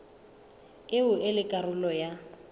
eo e leng karolo ya